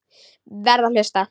Verð að hlusta.